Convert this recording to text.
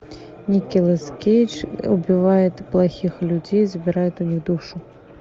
николас кейдж убивает плохих людей забирает у них душу